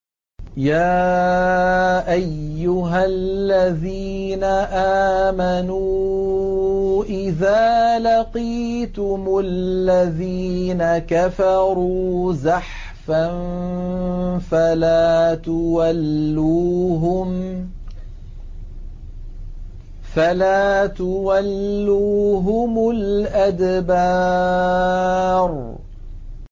يَا أَيُّهَا الَّذِينَ آمَنُوا إِذَا لَقِيتُمُ الَّذِينَ كَفَرُوا زَحْفًا فَلَا تُوَلُّوهُمُ الْأَدْبَارَ